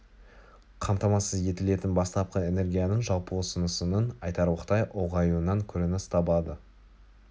қамтамасыз етілетін бастапқы энергияның жалпы ұсынысының айтарлықтай ұлғаюынан көрініс табады